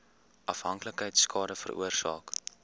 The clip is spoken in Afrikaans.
afhanklikheid skade veroorsaak